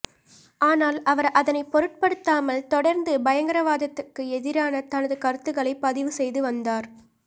ஆனால் அவர் அதனை பொருட்படுத்தாமல் தொடர்ந்து பயங்கரவாதத்துக்கு எதிரான தனது கருத்துக்களை பதிவு செய்து வந்தார்